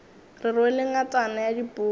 ke rwele ngatana ya dipuku